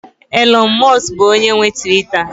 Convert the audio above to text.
Elon musk bụ onye nwe Tuweeta